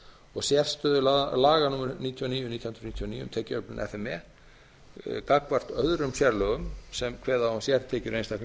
og sérstöðu laga númer níutíu og níu nítján hundruð níutíu og níu um tekjuöflun f m e gagnvart öðrum sérlögum sem kveða á um sértekjur einstakra ríkisstofnana